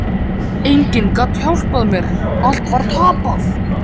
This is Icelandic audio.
Enginn gat hjálpað mér, allt var tapað.